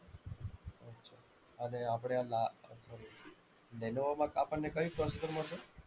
અને આપણે આ લા sorry લેનોવોમાં આપણને કયું processor મળશે?